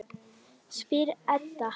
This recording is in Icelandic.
spyr Edda.